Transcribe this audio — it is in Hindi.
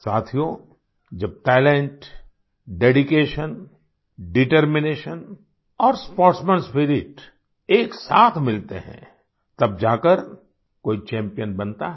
साथियो जब टैलेंट डेडिकेशन डिटरमिनेशन और स्पोर्ट्समैन स्पिरिट एक साथ मिलते हैं तब जाकर कोई चैम्पियन बनता है